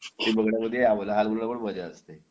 हे बघण्यामध्ये लहानपणी पण मजा असते